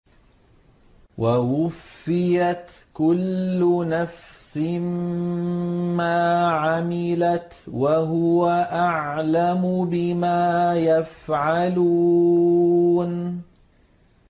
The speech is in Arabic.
وَوُفِّيَتْ كُلُّ نَفْسٍ مَّا عَمِلَتْ وَهُوَ أَعْلَمُ بِمَا يَفْعَلُونَ